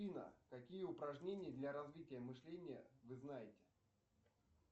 афина какие упражнения для развития мышления вы знаете